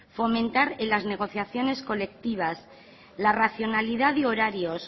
fomentar en las negociaciones colectivas la racionalidad de horarios